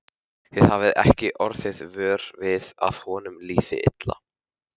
Þið hafið ekki orðið vör við að honum liði illa?